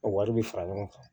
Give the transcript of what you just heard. O wari bɛ fara ɲɔgɔn kan